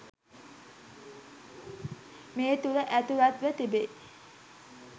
මේ තුළ ඇතුළත්ව තිබෙයි.